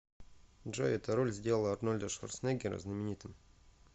джой эта роль сделала арнольда шварценеггера знаменитым